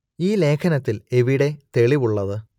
ഈ ലേഖനത്തിൽ എവിടെ തെളിവ് ഉള്ളത്